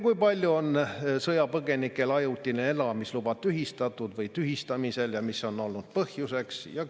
Kui paljudel sõjapõgenikel on ajutine elamisluba tühistatud või tühistamisel ja mis on olnud selle põhjuseks?